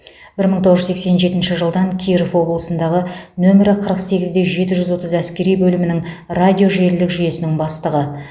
бір мың тоғыз жүз сексен жетінші жылдан киров облысындағы нөмірі қырық сегіз де жетіз жүз отыз әскери бөлімінің радио желілік жүйесінің бастығы